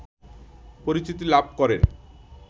পরিচিতি লাভ করেন